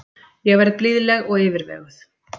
Ég verð blíðleg og yfirveguð.